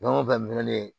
Fɛn o fɛn minɛlen